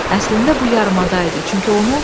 Əslində bu yarımada idi.